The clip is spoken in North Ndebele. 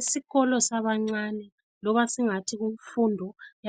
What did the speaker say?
Isikolo sabancane loba singathi